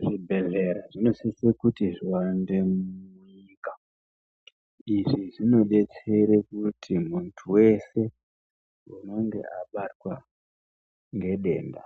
Zvibhedhlera zvinosise kuti zviwande munyika. Izvi zvinodetsere kuti muntu wese anenge abatwa ngedenda